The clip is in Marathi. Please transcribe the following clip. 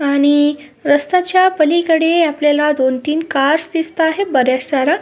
आणि रास्ता च पलीकडे आपल्याला दोन तीन कार दिसत आहेत बऱ्याच साऱ्या.